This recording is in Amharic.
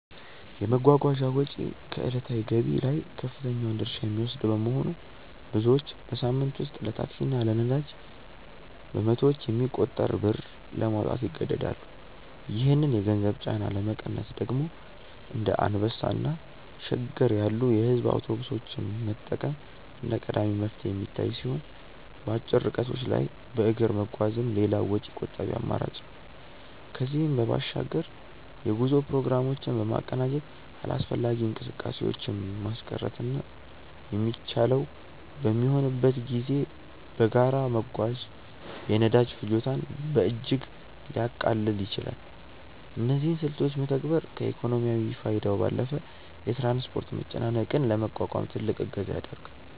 የመጓጓዣ ወጪ ከዕለታዊ ገቢ ላይ ከፍተኛውን ድርሻ የሚወስድ በመሆኑ፣ ብዙዎች በሳምንት ውስጥ ለታክሲ እና ለነዳጅ በመቶዎች የሚቆጠር ብር ለማውጣት ይገደዳሉ። ይህንን የገንዘብ ጫና ለመቀነስ ደግሞ እንደ አንበሳ እና ሸገር ያሉ የሕዝብ አውቶቡሶችን መጠቀም እንደ ቀዳሚ መፍትሄ የሚታይ ሲሆን፣ በአጭር ርቀቶች ላይ በእግር መጓዝም ሌላው ወጪ ቆጣቢ አማራጭ ነው። ከዚህም በባሻግር የጉዞ ፕሮግራሞችን በማቀናጀት አላስፈላጊ እንቅስቃሴዎችን ማስቀረትና የሚቻለው በሚሆንበት ጊዜ በጋራ መጓዝ የነዳጅ ፍጆታን በእጅጉ ሊያቃልል ይችላል። እነዚህን ስልቶች መተግበር ከኢኮኖሚያዊ ፋይዳው ባለፈ የትራንስፖርት መጨናነቅን ለመቋቋም ትልቅ እገዛ ያደርጋል።